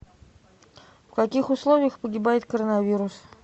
в каких условиях погибает коронавирус